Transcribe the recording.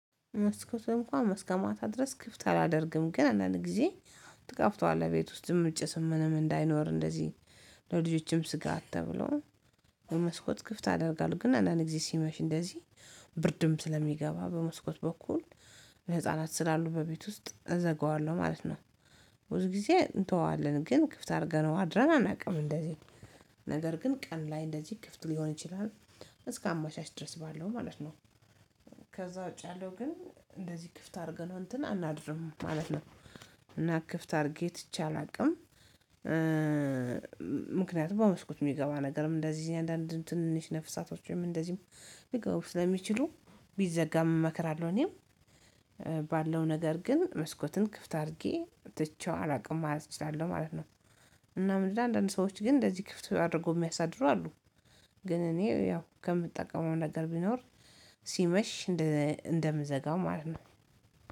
መስኮት እንኳን እስከማታ ድረስ ክፍት አላደርግም። ግን አንዳንድ ጊዜ ትጋፍተዋለህ። ቤት ውስጥም ጭስም ምንም እንዳይኖር እንደዚህ ለልጆችም ስጋት ተብሎ ለመስኮት ክፍት አደርጋለሁ። ግን አንዳንዴ ጊዜ ሲመሽ እንደዚህ ብርድም ስለሚገባ በመስኮት በኩል ህፃናት ስላሉ በቤት ውስጥ እዘጋዋለሁ። ማለት ነው። ብዙ ጊዜ እንተወዋለን ግን ክፍት አድርገነው አድረን አናውቅም። እንደዚህ ነገር ግን ቀን ላይ እንደዚህ ክፍት ሊሆን ይችላል። እስከ አመሻሽ ድረስ ባለው ማለት ነው። ከዛ ውጪ ያለው ግን እንደዚህ ክፍት አድርገነው እንትን አናድርም ማለት ነው። እና ክፍት አድርጌ ትቼ አላውቅም። እ ምክንያቱም በመስኮት የሚገባ ነገርም እንደዚህ እኔ አንዳንድ ትንሽ ነፍሳቶች ወይም እንደዚህም ሊገቡ ስለሚችሉ ቢዘጋም እመክራለሁ። እኔም ባለው ነገር ግን መስኮትን ክፍት አድርጌ ትቼው አላውቅም። ማለት እችላለሁ። ማለት ነው። እና ምንድነው አንዳንድ ሰዎች ግን እንደዚህ ክፍት አድርጎ የሚያሳድሩ አሉ። ግን እኔ ያው ከምጠቀመው ነገር ቢኖር ሲመሽ እንደምዘጋው ማለት ነው።